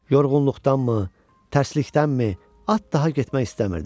Yorğunluqdanmı, tərslikdənmi at daha getmək istəmirdi.